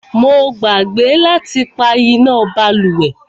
Mo gbàgbé láti pá iná bálùwẹ̀.